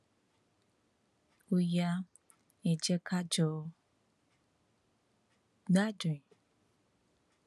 ó yá ẹ jẹ ká jọ gbádùn ẹ